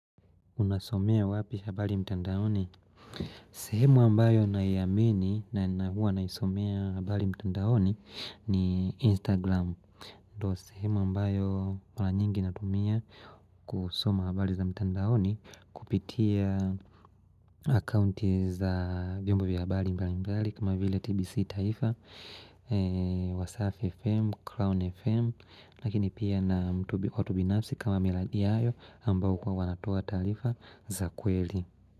Unasomea wapi habari mtandaoni? Sehemu ambayo na iamini na huwa na isomea habari mtandaoni ni Instagram. Ndo sehemu ambayo mara nyingi natumia kusoma habari za mtandaoni kupitia akaunti za vyombo vya habari mbalimbali kama vile TBC taifa, Wasaf FM, Crown FM Lakini pia na mtu binafsi kama miladiayo ambao huwa wanatua taarifa za kweli.